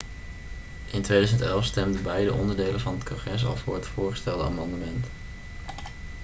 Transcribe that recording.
in 2011 stemden beide onderdelen van het congres al voor het voorgestelde amendement